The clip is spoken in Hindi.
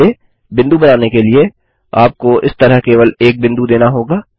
पहले बिंदु बनाने के लिए आपको इस तरह केवल एक बिंदु देना होगा